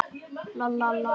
Þá kom í ljós að